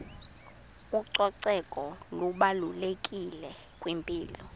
ucoceko lubalulekile kwimpilo